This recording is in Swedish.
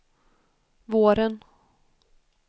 våren